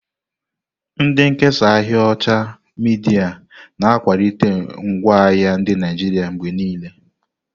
Ndị nkesa ahịa osha midia na-akwalite ngwaahịa ndị Naijiria mgbe niile.